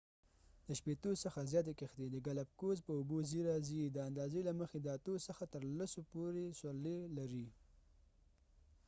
د شپیتو څخه زیاتی کښتۍ د ګالاپګوس په اوبو څی راځی د اندازی له مخی د اتو څخه تر سلو پورې سورلی لري